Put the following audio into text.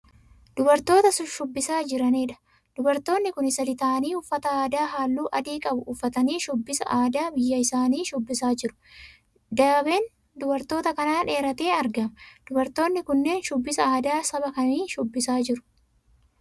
Dubartoota shubbisaa jiraniidha. Dubartoonni kun sadii tahaanii uffata aadaa halluu adii qabu uffatanii shubbisa aadaa biyya isaanii shubbisaa jiru. Daabeen dubartoota kanaa dheeratee argama. Dubartoonni kunneen shubbisa aadaa saba kamii shubbisaa jiru?